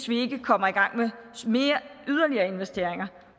vi kommer i gang med yderligere investeringer